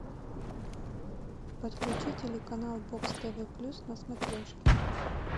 подключи телеканал бокс тв плюс на смотрешке